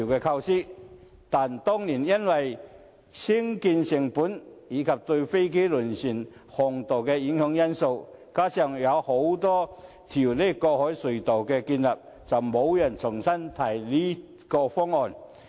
但是，當年因為興建成本，以及對飛機和輪船航道造成影響等因素，加上擬建多條海底隧道，後來便沒有人重新提出這個方案。